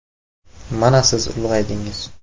Mana siz ulg‘aydingiz.